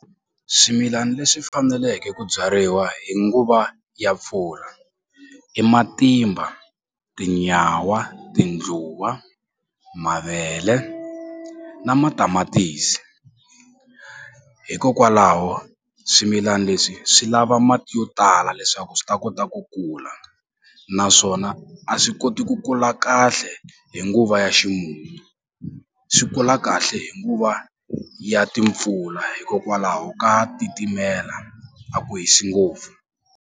Swimilani leswi faneleke ku byariwa hi nguva ya mpfula i matimba, tinyawa, tindluwa, mavele na matamatisi hikokwalaho swimilani leswi swi lava mati yo tala leswaku swi ta kota ku kula naswona a swi koti ku kula kahle hi nguva ya ximumu swi kula kahle hi nguva ya timpfula hikokwalaho ka titimela a ku hisi ngopfu.